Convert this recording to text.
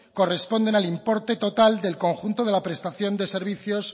corresponden al importe total del conjunto de la prestación de servicios